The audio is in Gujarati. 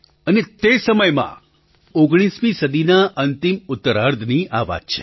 અને તે સમયમાં ૧૯મી સદીના આ અંતિમ ઉત્તરાર્ધની આ વાત છે